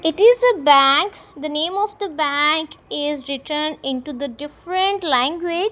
it is a bank the name of the bank is written into the different language.